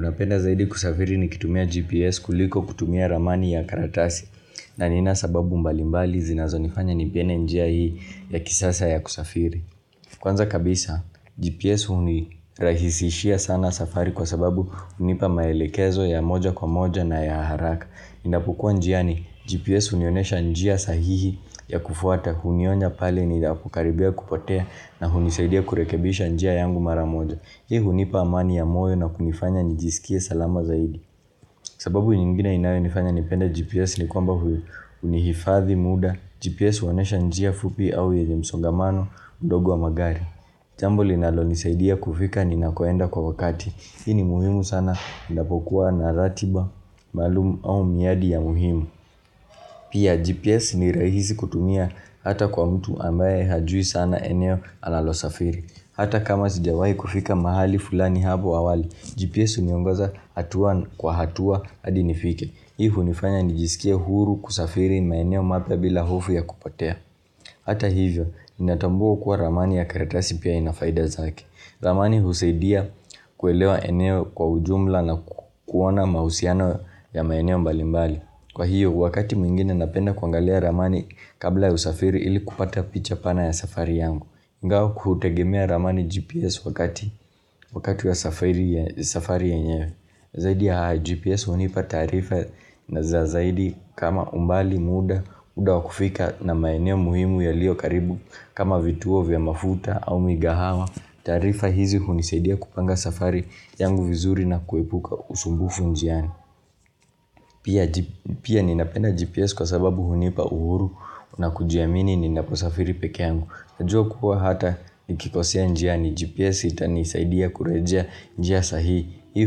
Napenda zaidi kusafiri nikitumia GPS kuliko kutumia ramani ya karatasi na nina sababu mbalimbali zinazo nifanya nipene njia hii ya kisasa ya kusafiri Kwanza kabisa GPS unirahisishia sana safari kwa sababu unipa maelekezo ya moja kwa moja na ya haraka Ninapokua njiani GPS unionesha njia sahihi ya kufuata unionya pale ninapokaribia kupotea na unisaidia kurekebisha njia yangu mara moja Hii unipa amani ya moyo na kunifanya nijisikie salama zaidi sababu nyingine inayo nifanya nipenda GPS ni kwamba unihifathi muda GPS uonesha njia fupi au yenye msongamano mdogo wa magari Jambo linalonisaidia kufika ninakoenda kwa wakati Hii ni muhimu sana ninapokuwa na ratiba maalum au miadi ya muhimu Pia GPS ni rahisi kutumia hata kwa mtu ambaye hajui sana eneo analo safiri Hata kama sijawahi kufika mahali fulani habo awali, GPS uniongoza hatua kwa hatua adi nifike. Hii hunifanya nijisikie huru kusafiri maeneo mapya bila hofu ya kupotea. Hata hivyo, ninatambua kuwa ramani ya karatasi pia inafaida zake. Ramani usaidia kuelewa eneo kwa ujumla na kuona mahusiano ya maeneo mbalimbali. Kwa hiyo, wakati mwingine napenda kuangalia ramani kabla ya usafiri ili kupata picha pana ya safari yangu. Ngao hutegemea ramani GPS wakati ya safari yenyewe Zaidi ya GPS unipa taarifa na za zaidi kama umbali muda muda wa kufika na maeneo muhimu yalio karibu kama vituo vya mafuta au migahawa taarifa hizi unisaidia kupanga safari yangu vizuri na kuepuka usumbufu njiani Pia ninapenda GPS kwa sababu unipa uhuru na kujiamini ninaposafiri peke yangu Najua kuwa hata nikikosea njia ni GPS itanisaidia kurejea njia sahihi hii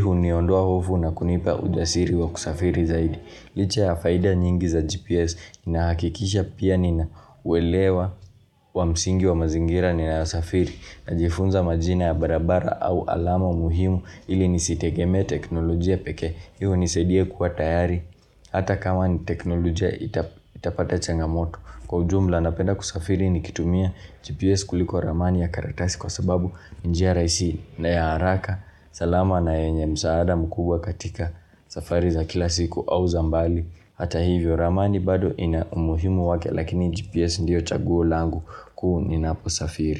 uniondoa hofu na kunipa ujasiri wa kusafiri zaidi Licha ya faida nyingi za GPS nahakikisha pia nina uelewa wa msingi wa mazingira ninayo safiri Najifunza majina ya barabara au alama muhimu ili nisitegeme teknolojia pekee Hii unisaidia kuwa tayari Hata kama ni teknolojia itapata changamoto Kwa ujumla napenda kusafiri nikitumia GPS kuliko ramani ya karatasi kwa sababu nj njia raisi na ya haraka salama na yenye msaada mkubwa katika safari za kila siku au za mbali Hata hivyo ramani bado ina umuhimu wake lakini GPS ndiyo chaguo langu kuu ninapo safiri.